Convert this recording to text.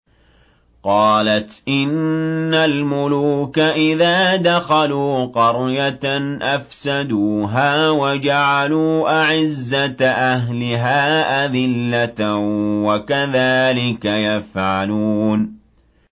قَالَتْ إِنَّ الْمُلُوكَ إِذَا دَخَلُوا قَرْيَةً أَفْسَدُوهَا وَجَعَلُوا أَعِزَّةَ أَهْلِهَا أَذِلَّةً ۖ وَكَذَٰلِكَ يَفْعَلُونَ